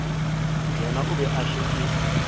yena o be a šetše